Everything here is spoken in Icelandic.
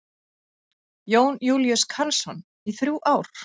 Jón Júlíus Karlsson: Í þrjú ár?